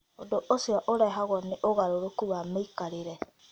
Ũndũ ũcio ũrehagwo nĩ ũgarũrũku wa mĩikarĩre.